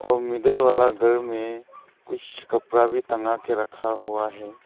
और मिडिल वाला घर में कुछ कपड़ा भी तंगा के रखा हुआ है।